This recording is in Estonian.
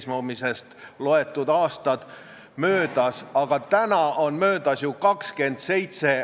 Ja asi pole mitte selles, et me ei taha 97–100%-le eesti keelt õpetada, vaid meil ei ole õpetajaid, meil ei ole kasvatajaid, kes suudaksid sellega tegeleda.